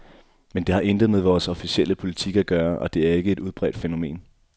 Men det har intet med vores officielle politik at gøre, og det er ikke et udbredt fænomen.